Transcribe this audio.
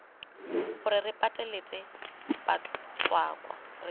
gore re pateletse batswakwa re